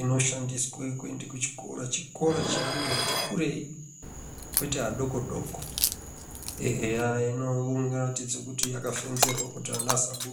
inoshandiswa kuenda kuchikora chikora cheantu ati kurei kwete adoko doko eya inoratidze kuti yakafenzerwa kuti ana asabuda.